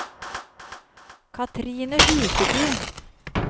Kathrine Huseby